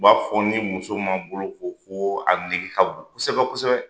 U b'a fɔ ni muso ma boloko ko a nege ka bon kosɛbɛ kosɛbɛ.